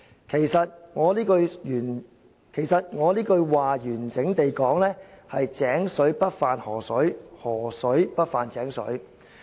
其實，我這句話完整地說是：'井水不犯河水，河水不犯井水'。